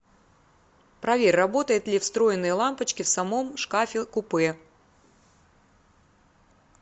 проверь работает ли встроенные лампочки в самом шкафе купе